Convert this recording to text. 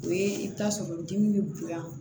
O ye i bɛ taa sɔrɔ dimi bɛ bonya